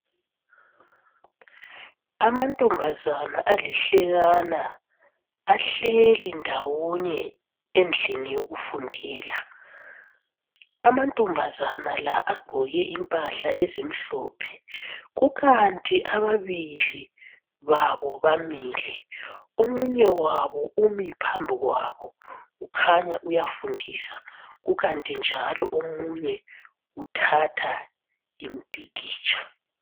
Amantombazana alihlekana ahleli ndawonye endlini yokufundela amantombazana la agqoke impahla ezimhlophe kukanti ababili babo bamile omunye wabo umi phambi kwabo kukhanya uyafundisa ukanti njalo omunye uthatha impikitsha.